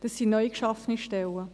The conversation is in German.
es sind neu geschaffene Stellen.